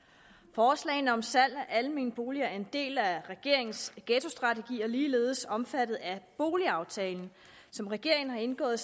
forslaget om salg af almene boliger er en del af regeringens ghettostrategi og er ligeledes omfattet af boligaftalen som regeringen har indgået